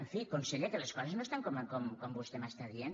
en fi conseller que les coses no estan com vostè m’està dient